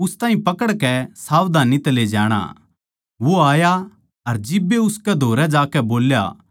वो आया अर जिब्बे उसकै धोरै जाकै बोल्या हे गुरु अर उस ताहीं चुम्या